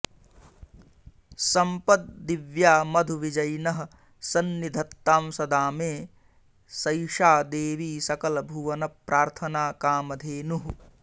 सम्पद्दिव्या मधु विजयिनः सन्निधत्तां सदा मे सैषा देवी सकल भुवन प्रार्थना कामधेनुः